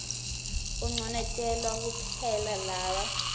unconotelwa kuphela laba